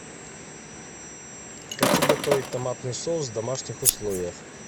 хочу готовить томатный соус в домашних условиях